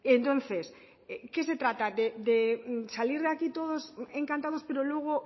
entonces qué se trata de salir de aquí todos encantados pero luego